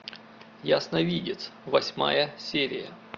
ясновидец восьмая серия